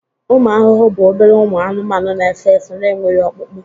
ụmụ ahụhụ bụ obere ụmụ anụmanụ n'efe efe n'enweghị ọkpụkpụ